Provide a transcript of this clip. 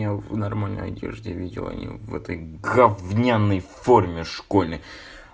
я в нормальной одежде видел а не в этой говняной в форме школьной